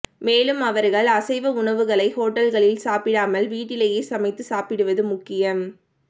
மேலும் அவர்கள் அசைவ உணவுகளை ஹோட்டல்களில் சாப்பிடாமல் வீட்டிலேயே சமைத்து சாப்பிடுவது முக்கியம்